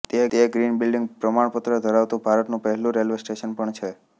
તે green building પ્રમાણપત્ર ધરાવતું ભારતનું પહેલું રેલ્વે સ્ટેશન પણ છે